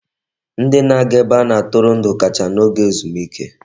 Ndị na-aga ebe a na-atụrụ ndụ kacha n'oge ezumike.